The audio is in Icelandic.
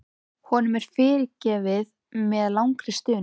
Honum er fyrirgefið með langri stunu.